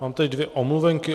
Mám tady dvě omluvenky.